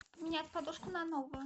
поменять подушку на новую